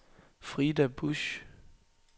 Frida Busch